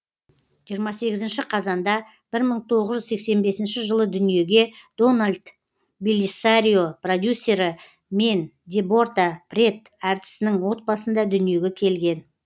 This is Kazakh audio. жиырма сегізінші қазанда бір мың тоғыз жүз сексен бесінші жылы дүниеге дональд беллисарио продюссері мен деборта прэтт әртісінің отбасында дүниеге келген